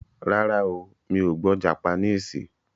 Rárá o, Mi ò gbọ́ japaníìsì.